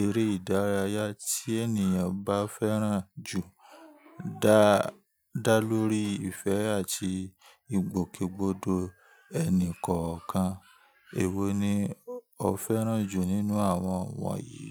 eré ìdárayá tí ènìyàn bá fẹ́ràn jù, da dá lórí ìfẹ́ àti ìgbòkègbodò ẹnì kọ̀ọ̀kan. Èwo ni ó fẹ́ràn jù nínú àwọn wọ̀nyí?